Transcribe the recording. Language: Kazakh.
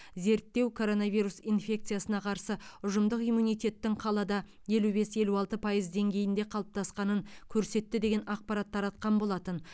зерттеу коронавирус инфекциясына қарсы ұжымдық иммунитеттің қалада елу бес елу алты пайыз деңгейінде қалыптасқанын көрсетті деген ақпарат таратқан болатын